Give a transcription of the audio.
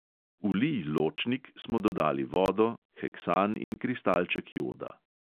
V lij ločnik smo dodali vodo, heksan in kristalček joda.